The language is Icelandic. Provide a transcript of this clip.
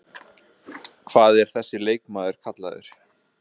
Hvað er þessi leikmaður kallaður?